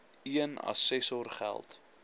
een assessor geld